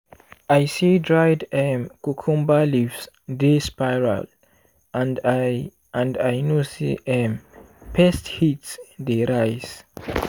i see dried um cucumber leaves dey spiral and i and i know say um pest heat dey rise.